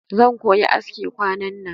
Zan koyi aski kwanan nan